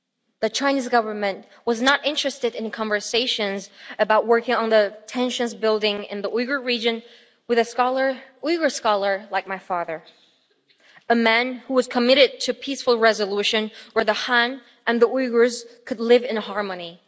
The Chinese Government was not interested in conversations about working on the tensions building in the Uyghur region with a Uyghur scholar like my father a man who was committed to peaceful resolution where the Han and the Uyghurs could live in harmony.